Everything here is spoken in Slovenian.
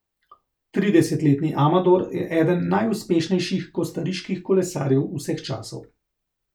Tridesetletni Amador je eden najuspešnejših kostariških kolesarjev vseh časov.